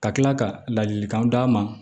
Ka kila ka ladilikanw d'a ma